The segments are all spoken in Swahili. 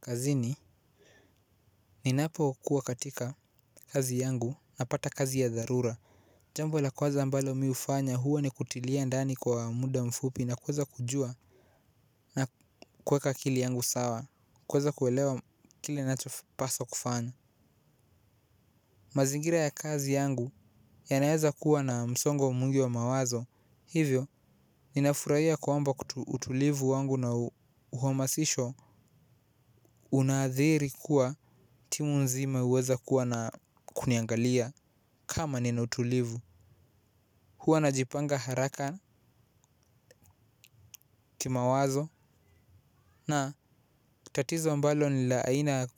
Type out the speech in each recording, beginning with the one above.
Kazini ninapokua katika kazi yangu napata kazi ya dharura. Jambo la kwanza ambalo mi hufanya huwa ni kutilia ndani kwa muda mfupi na kuweza kujua na kuweka akili yangu sawa. Kuweza kuelewa kile ninachopaswa kufanya. Mazingira ya kazi yangu yanaeza kuwa na msongo mwingi wa mawazo. Hivyo, ninafurahia kwamba utulivu wangu na uhamasisho unaadhiri kuwa timu nzima huweza kuwa na kuniangalia kama nina utulivu. Huwa najipanga haraka kimawazo. Na tatizo ambalo ni la aina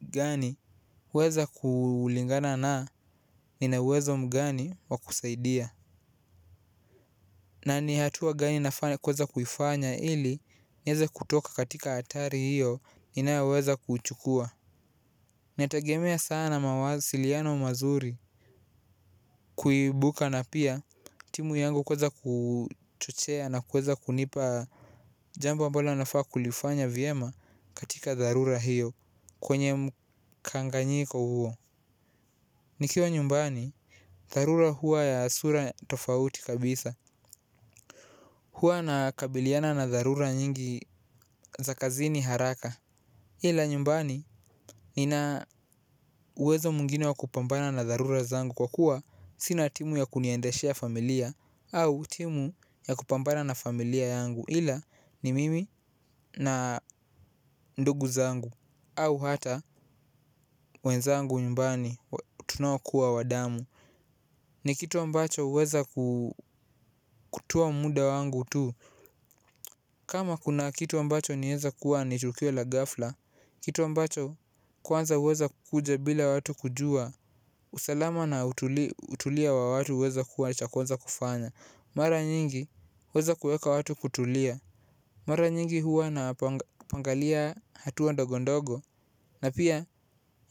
gani huweza kulingana na nina uwezo mgani wa kusaidia. Na ni hatua gani nafaa kuweza kufanya ili nieze kutoka katika hatari hiyo ninayoweza kuuchukua. Nategemea sana mawasiliano mazuri. Kuibuka na pia timu yangu kuweza kuchochea na kuweza kunipa jambo ambalo nafaa kulifanya vyema katika dharura hiyo, kwenye mkanganyiko huo. Nikiwa nyumbani, dharura huwa ya sura tofauti kabisa. Huwa nakabiliana na dharura nyingi za kazini haraka. Ila nyumbani nina uwezo mwingine wa kupambana na dharura zangu kwa kuwa sina timu ya kuniendeshea familia au timu ya kupambana na familia yangu. Ila ni mimi na ndugu zangu au hata wenzangu nyumbani tunaokuwa wa damu. Ni kitu ambacho huweza kutoa muda wangu tu. Kama kuna kitu ambacho inaeza kuwa ni tukio la ghafla, kitu ambacho kwanza huweza kukuja bila watu kujua, usalama na utulia wa watu huweza kuwa cha kwanza kufanya. Mara nyingi huweza kuweka watu kutulia. Mara nyingi huwa napangalia hatua ndogondogo na pia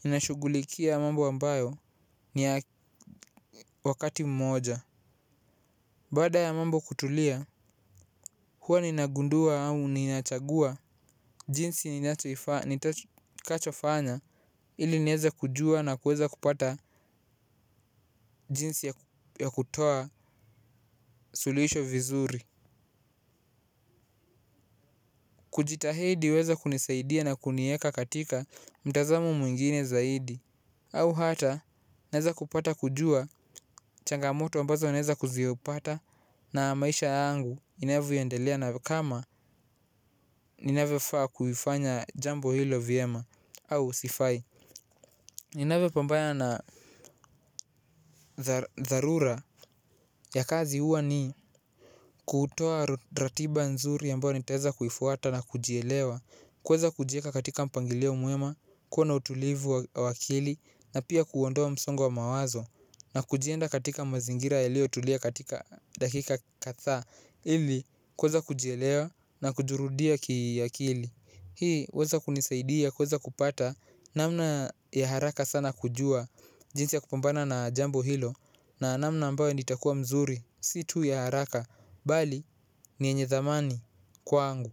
ninashughulikia mambo ambayo ni ya wakati mmoja. Baada ya mambo kutulia, huwa ninagundua au ninachagua jinsi ni kachofanya ili nieze kujua na kuweza kupata jinsi ya kutoa suluhisho vizuri. Kujitahidi huweza kunisaidia na kunieka katika mtazamo mwingine zaidi. Au hata naeza kupata kujua changamoto ambazo naeza kuzipata na maisha yangu inavyoendelea na kama ninavyofaa kuifanya jambo hilo vyema. Au sifai. NInavyopambana na dharura ya kazi huwa ni kutoa ratiba nzuri ambayo nitaeza kuifuata na kujielewa. Kuweza kujieka katika mpangilio mwema, kuwa na utulivu wa akili na pia kuondoa msongo wa mawazo. Na kujenda katika mazingira yaliyotulia katika dakika kadhaa. Ili kuweza kujielewa na kujirudia kiakili. Hii huweza kunisaidia kuweza kupata namna ya haraka sana kujua jinsi ya kupambana na jambo hilo na namna ambayo nitakua mzuri si tu ya haraka, bali ni yenye thamani kwangu.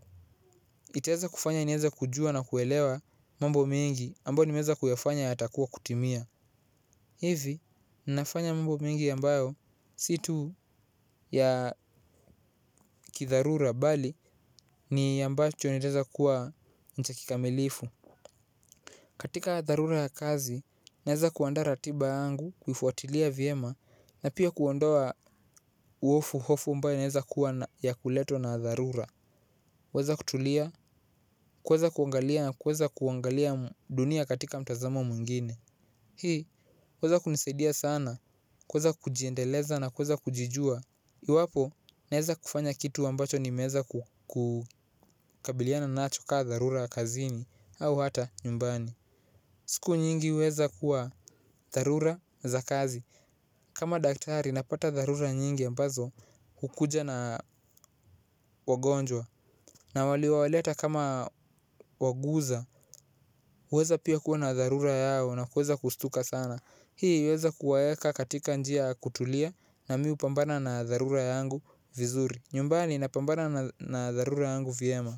Nitaweza kufanya nieze kujua na kuelewa mambo mengi. Ambayo nimeweza kuyafanya yatakuwa kutimia. Hivi nafanya mambo mengi ambayo si tu ya kidharura bali ni ambacho nitaeza kuwa ni cha kikamilifu. Katika dharura ya kazi naeza kuandaa ratiba yangu, kuifuatilia vyema na pia kuondoa hofu hofu ambayo inaeza kuwa ya kuletwa na dharura. Huweza kutulia, kuweza kuangalia na kuweza kuangalia dunia katika mtazamo mwingine. Hii huweza kunisaidia sana kuweza kujiendeleza na kuweza kujijua. Iwapo naeza kufanya kitu ambacho nimeweza kukabiliana nacho kaa dharura ya kazini au hata nyumbani. Siku nyingi huweza kuwa dharura za kazi. Kama daktari napata dharura nyingi ambazo hukuja na wagonjwa. Na waliowaleta kama waguza huweza pia kuwa na dharura yao na kuweza kustuka sana. Hii huweza kuwaweka katika njia ya kutulia na mi hupambana na dharura yangu vizuri. Nyumbani napambana na dharura yangu vyema.